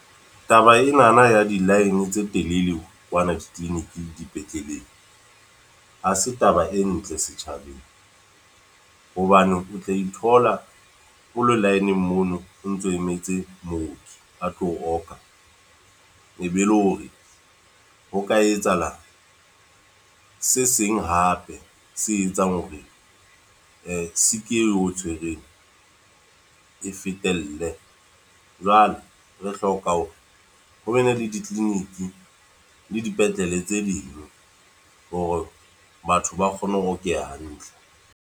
Taba enana ya di-line tse telele kwana di-clinic, dipetleleng. Ha se taba e ntle setjhabeng. Hobane o tla ithola o lo line-ng mono, o ntso emetse mooki a tlo o oka. E be le hore, ho ka etsahala se seng hape se etsang hore sick e o tshwereng, e fetelle. Jwale re hloka hore ho be ne le di-clinic, le dipetlele tse ding. Hore batho ba kgone ho okeha hantle.